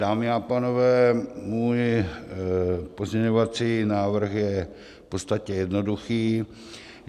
Dámy a pánové, můj pozměňovací návrh je v podstatě jednoduchý.